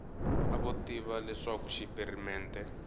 a vo tiva leswaku xipirimente